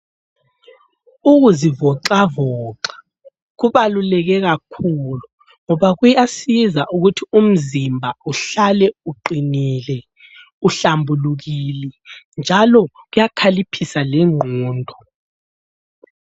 Ukuzivoxavoxa kubaluleke kakhulu ngoba kuyasiza ukuthi umzimba uhlale uqinile, uhlambulukile njalo kuyakhaliphisa lengqondo.